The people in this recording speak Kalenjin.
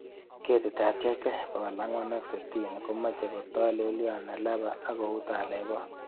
Ketitab JK460 komoche kotolelion nelaba ak kou telebot.